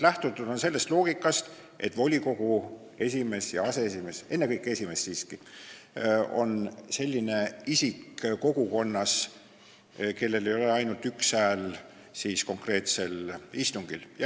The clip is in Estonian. Lähtutud on sellest loogikast, et volikogu esimees ja aseesimees – ennekõike siiski esimees – on kogukonnas selline isik, kellel ei ole ainult üks hääl konkreetsel istungil.